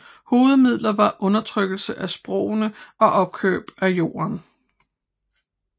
Hovedmidler var undertrykkelse af sprogene og opkøb af jorden